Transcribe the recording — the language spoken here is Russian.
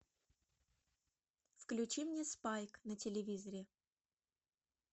включи мне спайк на телевизоре